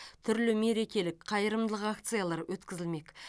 түрлі мерекелік қайырымдылық акциялар өткізілмек